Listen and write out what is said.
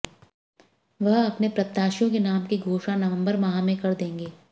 वह अपने प्रत्याशियों के नाम की घोषणा नवंबर माह में कर देंगे